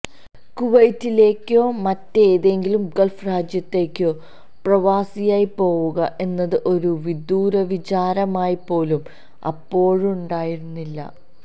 കുവൈറ്റിലേയ്ക്കോ മറ്റേതെങ്കിലും ഗൾഫ് രാജ്യത്തേയ്ക്കോ പ്രവാസിയായി പോവുക എന്നത് ഒരു വിദൂരവിചാരമായിപ്പോലും അപ്പോഴുണ്ടായിരുന്നില്ല